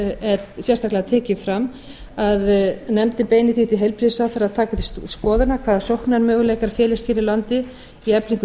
var sérstaklega tekið fram að nefndin beini því til heilbrigðisráðherra að taka til skoðunar hvaða sóknarmöguleikar felist hér á landi í